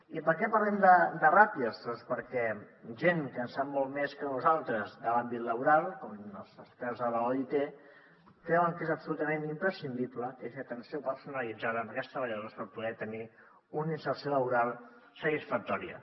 i per què parlem de ràtios doncs perquè gent que en sap molt més que nosaltres de l’àmbit laboral com els experts de l’oit creuen que és absolutament imprescindible que hi hagi una atenció personalitzada amb aquests treballadors per poder tenir una inserció laboral satisfactòria